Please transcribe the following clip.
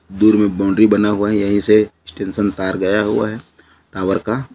दूर मे बाउंड्री बना हुआ है यहीं से स्टेसन तार गया हुआ है टॉवर का--